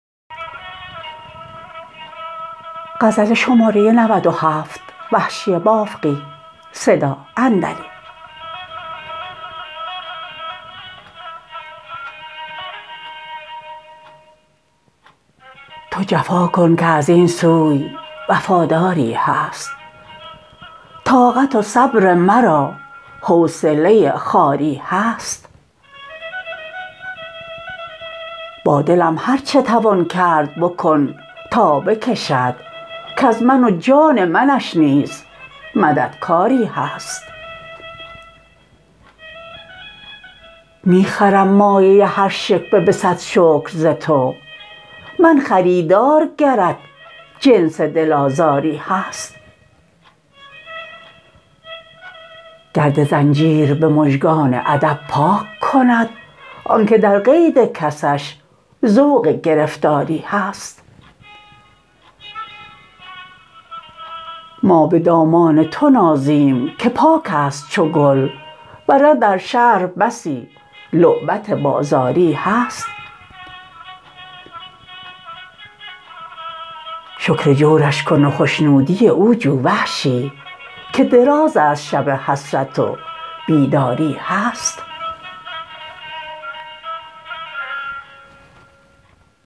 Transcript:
تو جفاکن که از اینسوی وفاداری هست طاقت و صبر مرا حوصله خواری هست با دلم هر چه توان کرد بکن تا بکشد کز من و جان منش نیز مددکاری هست می خرم مایه ی هر شکوه به صد شکر ز تو من خریدار گرت جنس دل آزاری هست گرد زنجیر به مژگان ادب پاک کند آنکه در قید کسش ذوق گرفتاری هست ما به دامان تو نازیم که پاکست چو گل ورنه در شهر بسی لعبت بازاری هست شکر جورش کن و خشنودی او جو وحشی که درازست شب حسرت و بیداری هست